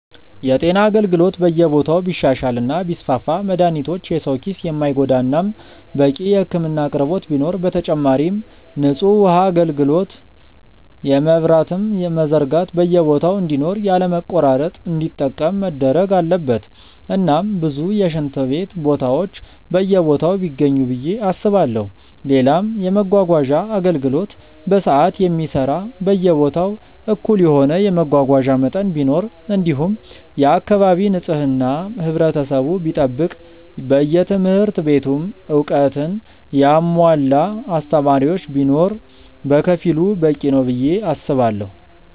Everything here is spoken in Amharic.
የጤና አገልግሎት በየቦታው ቢሻሻል እና ቢስፋፋ መድሃኒቶች የሰው ኪስ የማይጎዳ እናም በቂ የህክምና አቅርቦት ቢኖር፣ በተጨማሪም ንጹህ ውሃ አጋልግሎት የመብራትም መዘርጋት በየቦታ እንዲኖር ያለ መቆራረጥ እንዲጠቀም መደረግ አለበት እናም ብዙ የሽንት ቤት ቦታዎች በየቦታው ቢገኙ ብዬ አስባለው፣ ሌላም የመመጓጓዣ አገልግሎት በሰዓት የሚሰራ በየቦታው እኩል የሆነ የመጓጓዣ መጠን ቢኖር እንዲሁም የአካባቢ ንጽህና ህብረተሰቡ ቢጠብቅ በየትምህርት ቤቱም እውቀትን ያሙዋላ አስተማሪዎች ቢኖር በከፊሉ በቂ ነው ብዬ አስባለው።